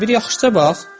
Bir yaxşıca bax!